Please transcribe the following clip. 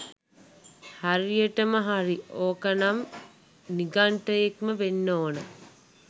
හරියටම හරි ඕකා නම් නිගන්ටයෙක්ම වෙන්නම ඕන.